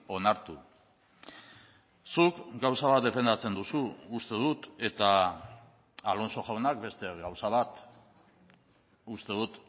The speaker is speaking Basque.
onartu zuk gauza bat defendatzen duzu uste dut eta alonso jaunak beste gauza bat uste dut